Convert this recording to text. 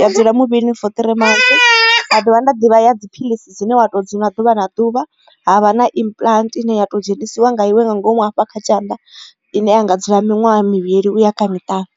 ya dzula muvhilini for three months nda dovha nda ḓivha ya dziphilisi dzine wa to nga ḓuvha na ḓuvha havha na implant ine ya to dzhenisiwa nga iwe nga ngomu hafha kha tshanḓa ine ya nga dzula miṅwaha mivhili uya kha miṱanu